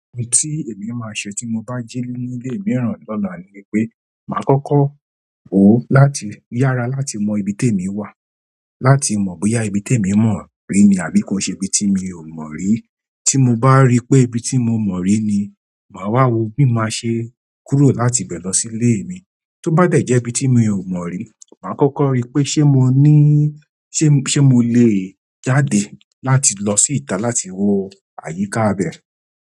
Ohun tí èmi máa ṣe tí mo bá jí nílé mìíràn lọ́la ni pé, máa kọ́kọ́ wò láti yára láti mọ ibi tó èmi wà. Láti mọ bóyá ibí tèmi mọri àbí ko í ṣe ibí tí mi o mọri tí mo bá rí pé ibi tí mo mọ̀ rí ni, màá wá wo bí máa ṣe kúrò láti ibẹ̀ lọ sí ilé mi. Tó bá dẹ̀ jẹ́ ibi tí mi ò mọ̀ rí, màá kọ́kọ́ ríi pé ṣé mo ní, ṣé, ṣé mo lè jáde láti lọ sí ìta láti wo àyíká ibẹ̀.